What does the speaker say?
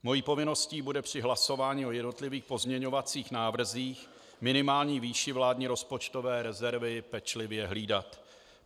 Mou povinností bude při hlasování o jednotlivých pozměňovacích návrzích minimální výši vládní rozpočtové rezervy pečlivě hlídat.